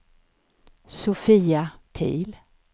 Sofia Pihl